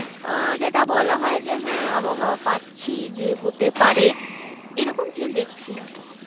আহ যেটা বলা হয় যে হ্যাঁ আবহাওয়া পাচ্ছি যে হতে পারে এরকম কিছু দেখছি না আপাতত